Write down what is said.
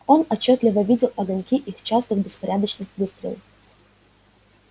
он отчётливо видел огоньки их частых беспорядочных выстрелов